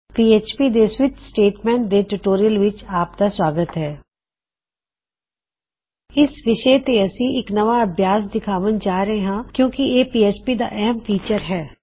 PHP ਦੇ switch statement ਦੇ tutorial ਵਿੱਚ ਆਪ ਦਾ ਸੂਆਗਤ ਹੈ ਇਸ ਵਿਸ਼ੇ ਤੇ ਅਸੀ ਇੱਕ ਨਵਾਂ ਅਭਿਆਸ ਦਿਖਾਉਣ ਜਾ ਰਹੇ ਹਾਂ ਕਿੳਂ ਕਿ ਇਹ ਪੀਐਚਪੀ ਦਾ ਅਹਿਮ ਫੀਚਰ ਹੈ